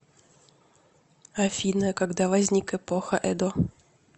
афина когда возник эпоха эдо